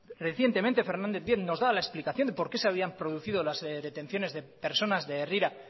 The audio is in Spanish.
recientemente fernández díaz nos da la explicación de por qué se habían producido las detenciones de personas de herrira